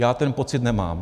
Já ten pocit nemám.